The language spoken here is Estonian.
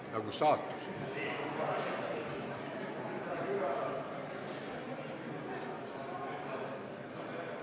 Austatud Riigikogu, me arutame neljandat päevakorrapunkti.